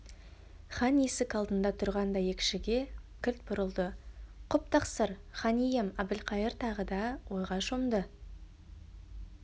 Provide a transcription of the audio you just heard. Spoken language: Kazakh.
хан есік алдында тұрған дәйекшіге кілт бұрылды құп тақсыр хан ием әбілқайыр тағы да ойға шомды